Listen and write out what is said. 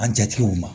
An jatigiw ma